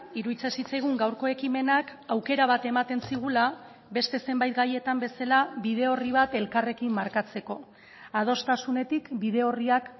iruditzen zitzaigun gaurko ekimenak aukera bat ematen zigula beste zenbait gaietan bezala bide orri bat elkarrekin markatzeko adostasunetik bide orriak